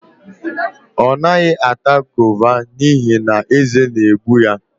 Ọ naghị ata gova n'ihi na eze na-egbu ya